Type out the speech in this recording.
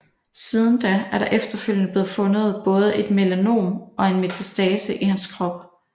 Siden da er der efterfølgende blevet fundet både et melanom og en metastase i hans krop